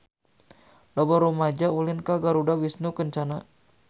Loba rumaja ulin ka Garuda Wisnu Kencana